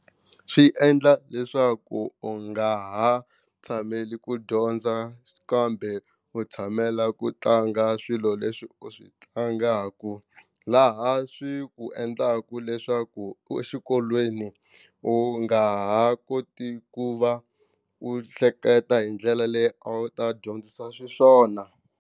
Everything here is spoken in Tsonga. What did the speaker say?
Swi endla leswaku u nga ha tshameli ku dyondza kambe u tshamela ku tlanga swilo leswi u swi tlangaka laha swi ku endlaka leswaku exikolweni u nga ha koti ku va u hleketa hi ndlela leyi a wu ta dyondzisa xiswona.